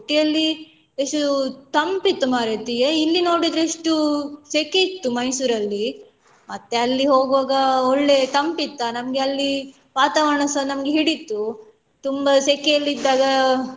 Ooty ಯಲ್ಲಿ ಎಷ್ಟು ತಂಪಿತ್ತು ಮಾರೈತಿ ಎ ಇಲ್ಲಿ ನೋಡಿದ್ರೆ ಇಷ್ಟು ಸೆಕೆ ಇತ್ತು Mysore ಅಲ್ಲಿ ಮತ್ತೆ ಅಲ್ಲಿ ಹೋಗುವಾಗ ಒಳ್ಳೆ ತಂಪಿತ್ತಾ ನಮ್ಗೆ ಅಲ್ಲಿ ವಾತಾವರಣಸ ನಮ್ಗೆ ಹಿಡಿತು ತುಂಬ ಸೆಕೆಯಲ್ಲಿ ಇದ್ದಾಗ.